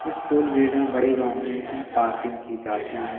इस toll gate में बड़े वाहनों की पार्किंग की जाती है।